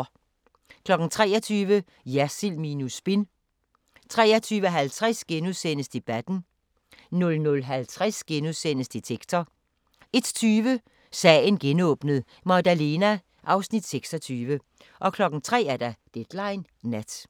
23:00: Jersild minus spin 23:50: Debatten * 00:50: Detektor * 01:20: Sagen genåbnet: Magdalena 26 03:00: Deadline Nat